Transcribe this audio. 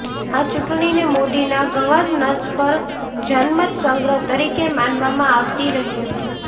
આ ચૂંટણીને મોદીના ગવર્નન્સ પર જનમત સંગ્રહ તરીકે માનવામાં આવતી રહી હતી